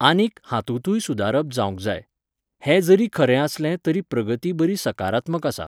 आनीक हांतुतूय सुदारप जावंक जाय. हें जरी खरें आसलें तरी प्रगती बरी सकारात्मक आसा